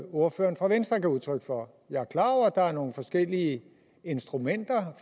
ordføreren for venstre gav udtryk for jeg er klar over at der er nogle forskellige instrumenter